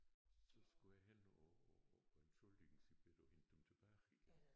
Så skulle jeg hen og og og entschuldigen Sie bitte og hente dem tilbage igen